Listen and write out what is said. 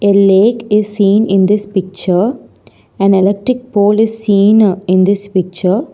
A lake is seen in this picture an electric pole is seen in this picture.